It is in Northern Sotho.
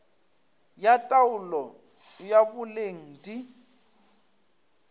ya taolo ya boleng di